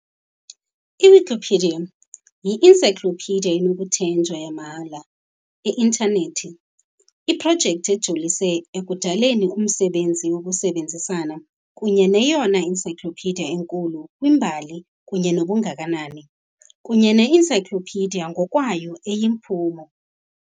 I-Wikipedia yi-encyclopedia enokuthenjwa yamahhala i-intanethi, iprojekti ejolise ekudaleni umsebenzi wokusebenzisana kunye neyona encyclopedia enkulu kwimbali kunye nobungakanani, kunye ne-encyclopedia ngokwayo eyiphumo.